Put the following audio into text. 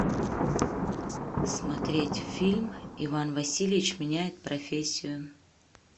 смотреть фильм иван васильевич меняет профессию